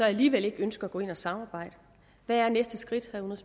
alligevel ikke ønsker at gå ind og samarbejde hvad er næste skridt